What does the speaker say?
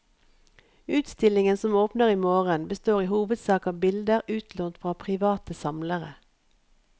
Utstillingen som åpner i morgen består i hovedsak av bilder utlånt fra private samlere.